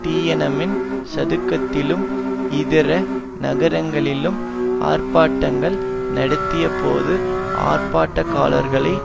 Tiananmen சதுக்கத்திலும் இதர நகரங்களிலும் ஆர்ப்பாட்டங்கள் நடத்தியபோது ஆர்ப்பாட்டக்காலர்களை